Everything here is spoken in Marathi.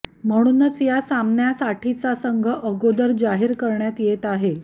म्हणूनच या सामन्यासाठीचा संघ अगोदर जाहीर करण्यात येत आहे